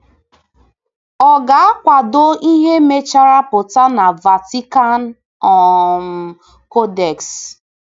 Ọ̀ ga-akwado ihe mechara pụta na Vatican um Codex?